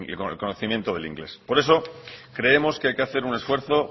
el conocimiento del inglés por eso creemos que hay que hacer un esfuerzo